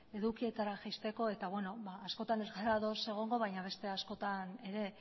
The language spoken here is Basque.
edukietara jaisteko eta beno askotan ez gara ados egongo baina beste askotan ere